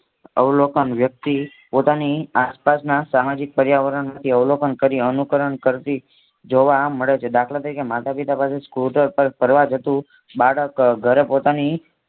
અવલોકન વ્યક્તિ પોતાની આસપાસના સામાજિક પ્રાયાવરણથી અવલોકન કરી અનુકર કરતી જોવા મળે છે દાખલા તરીકે માતાપિતા પાસેથી સ્કૂટર પર ફરવા જતું બાળક ઘરે પોતાની